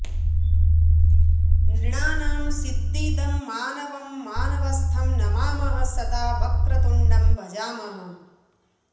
नृणां सिद्धिदं मानवं मानवस्थं नमामः सदा वक्रतुण्डं भजामः